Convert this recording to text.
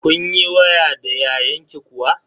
Kun yi waya da yayanki kuwa?